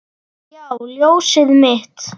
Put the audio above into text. Já, ljósið mitt.